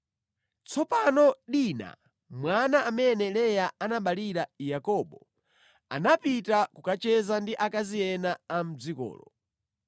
Tsopano Dina, mwana amene Leya anaberekera Yakobo, anapita kukacheza ndi akazi ena a mʼdzikolo.